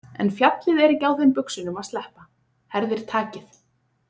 En fjallið er ekki á þeim buxunum að sleppa, herðir takið.